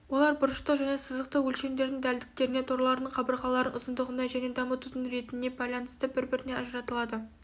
олар бұрыштық және сызықтық өлшемдердің дәлдіктеріне торлардың қабырғаларының ұзындығына және дамытудың ретіне байланысты бір-бірінен ажыратылады